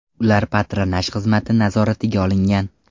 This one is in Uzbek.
Ular patronaj xizmati nazoratiga olingan.